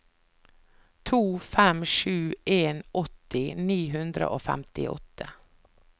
to fem sju en åtti ni hundre og femtiåtte